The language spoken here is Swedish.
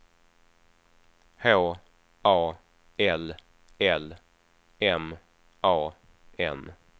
H A L L M A N